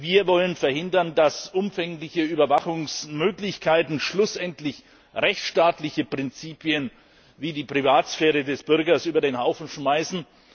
Wir wollen verhindern, dass umfängliche Überwachungsmöglichkeiten schlussendlich rechtsstaatliche Prinzipien wie die Privatsphäre des Bürgers über den Haufen schmeißen.